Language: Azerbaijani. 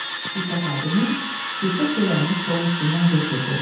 Kilsə xadimi kilsə çörəyini stolun üstündən götürdü.